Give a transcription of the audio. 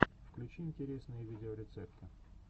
подключи интересные видеорецепты